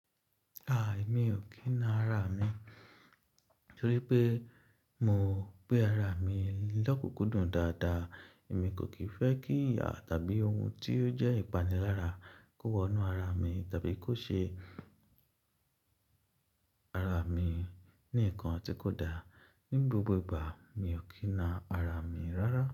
A, èmi ò kína ara mi torí pé mo gbé ara mi lọ́kùkúndùn dáadáa. Èmi kò kì n fẹ́ kí ìyà tàbí ohun tí ó jẹ́ ìpanilára kó wọ inú ara mi tàbí kó ṣe ara mi ní nǹkan tí kò da. Ní gbogbo ìgbà mi ò kína ara mi rárá.